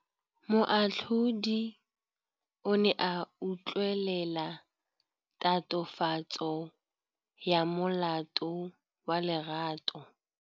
Moatlhodi o ne a utlwelela tatofatsô ya molato wa Lerato.